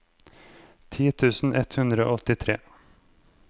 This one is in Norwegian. ti tusen ett hundre og åttitre